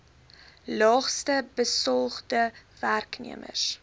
laagste besoldigde werknemers